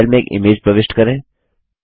file में एक image प्रविष्ट करें